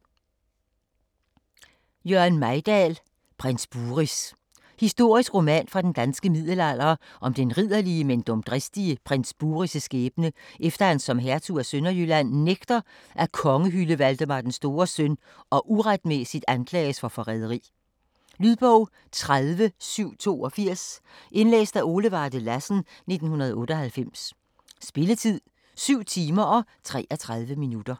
Mejdahl, Jørgen: Prins Buris Historisk roman fra den danske middelalder om den ridderlige, men dumdristige prins Buris' skæbne, efter at han som hertug af Sønderjylland nægter at kongehylde Valdemar den Stores søn og uretmæssigt anklages for forræderi. Lydbog 30782 Indlæst af Ole Varde Lassen, 1998. Spilletid: 7 timer, 33 minutter.